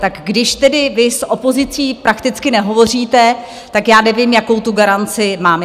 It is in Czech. Tak když tedy vy s opozicí prakticky nehovoříte, tak já nevím, jakou tu garanci mám.